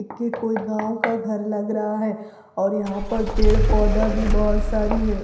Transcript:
के कोई गाँव का घर लग रहा है और यहाँ पे पेड़-पौधा भी बहुत सारी है।